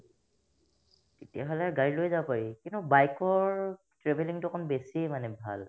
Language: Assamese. তেতিয়াহ'লে গাড়ী লৈয়ে যাব পাৰি কিন্তু bike ৰ travelling তো অকন বেছিয়ে মানে ভাল